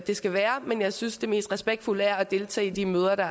det skal være men jeg synes det mest respektfulde er at deltage i de møder der